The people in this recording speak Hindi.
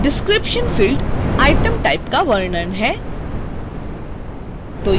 description field item type का वर्णन है